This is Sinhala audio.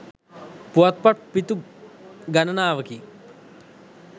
පුවත්පත් පිටු ගණනාවකින්